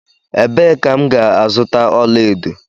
Ebe ka m ga azuta ọla edo?